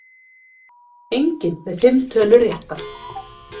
Enginn með fimm tölur réttar